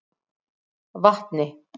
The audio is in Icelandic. Vatni